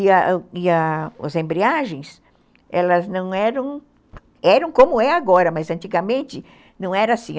E a e as embreagens, elas não eram... Eram como é agora, mas antigamente não era assim.